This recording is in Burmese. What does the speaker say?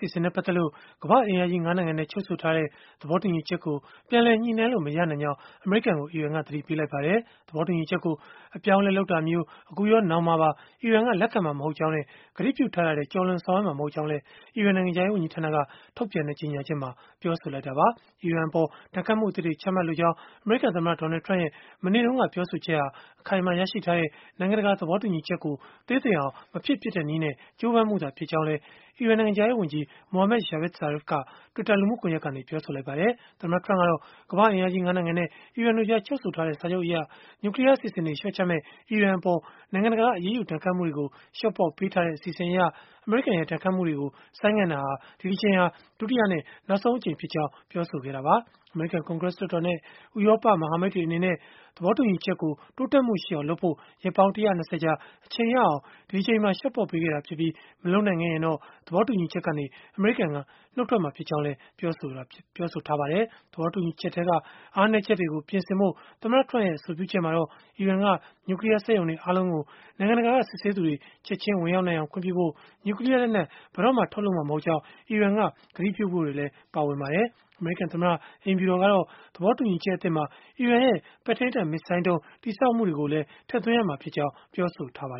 ီအစဉ်နဲ့ ပတ်သက်လို့ ကမ္ဘာ့အင်အားကြီး ၅ နိုင်ငံနဲ့ ချုပ်ဆိုထားတဲ့ သဘောတူညီချက်ကို ပြန်လည် ညှိနှိုင်းလို့ မရနိုင်ကြောင်း အမေရိကန်ကို အီရန်က သတိပေးလိုက်ပါတယ်။ သဘောတူညီချက်ကို အပြောင်းအလဲလုပ်တာမျိုး အခုရော၊ နောင်မှာပါ အီရန်က လက်ခံမှာ မဟုတ်ကြောင်းနဲ့ ကတိပြုထားတာထက် ကျော်လွန်ဆောင်ရွက်မှာ မဟုတ်ကြောင်းလည်း အီရန်နိုင်ငံခြားရေး ဝန်ကြီးဌာနက ထုတ်ပြန်တဲ့ ကြေညာချက်မှာ ပြောဆိုလိုက်တာပါ။ အီရန်အပေါ်ဒဏ်ခတ်မှုအသစ်တွေချမှတ်လိုကြောင်း အမေရိကန်သမ္မတ Donald Trump ရဲ့ မနေ့တုန်းကပြောဆိုချက်ဟာအခိုင်အမာရရှိထားတဲ့ နိုင်ငံတကာသဘောတူညီချက်ကို သေးသိမ်အောင် မဖြစ်ဖြစ်တဲ့နည်းနဲ့ ကြိုးပမ်းမှုသာဖြစ်ကြောင်း အီရန်နိုင်ငံခြားရေး ဝန်ကြီး Mohammad Javad Zarif ကလည်း Twitter လူမှုကွန်ယက်ကနေ ပြောဆိုခဲ့ပါတယ်။ သမ္မတ Trurmp ကတော့ ကမ္ဘာ့အင်အားကြီး ၅ နိုင်ငံနဲ့ အီရန်တို့ကြား ချုပ်ဆိုထားတဲ့ စာချုပ်အရ၊ နျူကလီးယား အစီအစဉ်တွေ လျှော့ချမယ့် အီရန်အပေါ် နိုင်ငံတကာက အရေးယူဒဏ်ခတ်မှုတွေကို လျှော့ပေါ့ပေးထားတဲ့ အစီအစဉ်အရ၊ အမေရိကန်ရဲ့ ဒဏ်ခတ်မှုတွေကို ဆိုင်းငံ့တာဟာ ဒီတကြိမ်ဟာ ဒုတိယနဲ့ နောက်ဆုံးအကြိမ်ဖြစ်ကြောင်း ပြောဆိုခဲ့တာပါ။ အမေရိကန် ကွန်ဂရက် လွှတ်တော်နဲ့ ဥရောပက မဟာမိတ်တွေ အနေနဲ့ သဘောတူညီချက်ကို တိုးတက်မှုရှိအောင်လုပ်ဖို့ ရက်ပေါင်း ၁၂၀ ကြာ အချိန်ရအောင် ဒီတကြိမ်မှာ လျှော့ပေါ့ပေးခဲ့တာဖြစ်ပြီး၊ မလုပ်နိုင်ခဲ့ရင်တော့ သဘောတူညီချက်ကနေ အမေရိကန် ထွက်မှာဖြစ်ကြောင်း ပြောဆိုခဲ့တာဖြစ်ပါတယ်။ သဘောတူညီချက်ထဲက အားနည်းချက်တွေကို ပြင်ဆင်ဖို့ သမ္မတ Trump ရဲ့ အဆိုပြုချက်မှာတော့ အီရန်က နျူကလီးယား စက်ရုံတွေ အားလုံးကို နိုင်ငံတကာက စစ်ဆေးသူတွေ ချက်ခြင်း ဝင်ရောက်နိုင်အောင် ခွင့်ပြုဖို့၊ နျူကလီးယားလက်နက် ဘယ်တော့မှ ထုတ်လုပ်မှာ မဟုတ်ကြောင်း အီရန်က ကတိပြုဖို့တွေလည်း ပါဝင်ပါတယ်။ အမေရိကန်သမ္မတ အိမ်ဖြူတော်ကတော့ သဘောတူညီချက် အသစ်မှာ အီရန်ရဲ့ ပဲ့ထိန်းတပ်မစ်ဇိုင်းဒုံး တည်ဆောက်မှုတွေကိုပါ ထည့်သွင်းရမှာဖြစ်ကြောင်း ပြောဆိုထားတာပါ